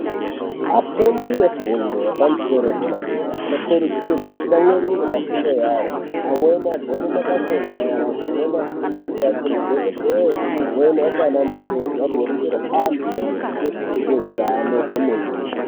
Afundi efundo yepamusoro yedera dera anokurudzirwa atsamwirire pafundo yavo amweni agone mabasa enyara amweni afundire aite madhokodheya amweni aite anamukoti agoringire antu maringe ngezveutano kwemene.